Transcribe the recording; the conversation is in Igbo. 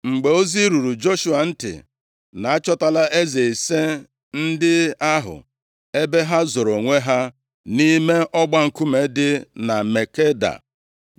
Mgbe ozi ruru Joshua ntị, na a chọtala eze ise ndị ahụ, ebe ha zoro onwe ha nʼime ọgba nkume dị na Makeda,